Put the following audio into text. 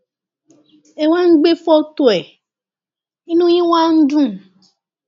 ẹ wá ń gbé fọtò ẹ inú yín wá ń dùn